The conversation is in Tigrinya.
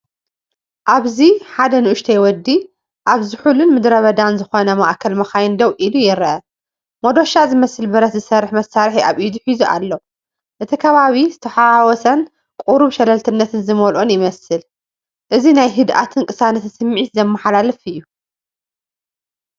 ኣብዚ ሓደ ንኡሽተይ ወዲ ኣብ ዝሑልን ምድረበዳን ዝኾነ ማእከል መካይን ደው ኢሉ ይርአ። መዶሻ ዝመስል ብረት ዝሰርሕ መሳርሒ ኣብ ኢዱ ሒዙ ኣሎ። እቲ ከባቢ ዝተሓዋወሰን ቁሩብ ሸለልትነት ዝመልኦን ይመስል። እዚ ናይ ህድኣትን ቅሳነትን ስምዒት ዘመሓላልፍ እዩ።